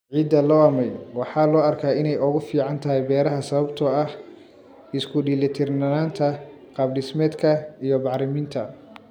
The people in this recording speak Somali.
Ciidda loamy waxaa loo arkaa inay ugu fiican tahay beeraha sababtoo ah isku dheellitirnaanta qaabdhismeedka iyo bacriminta.